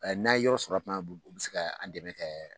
n'an ye yɔrɔ sɔrɔ tuma u bɛ se ka an dɛmɛ kɛ